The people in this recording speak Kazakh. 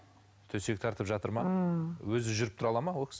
төсек тартып жатыр ма ммм өзі жүріп тұра алады ма ол кісі